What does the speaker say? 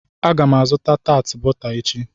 Aga m egota bọta taati echi.